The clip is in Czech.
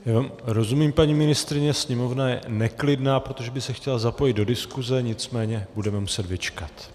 Rozumím, paní ministryně, sněmovna je neklidná, protože by se chtěla zapojit do diskuse, nicméně budeme muset vyčkat.